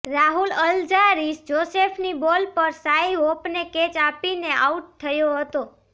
Rahul Alzarri જોસેફની ball પર Shai હોપને કેચ આપીને આઉટ થયો હતો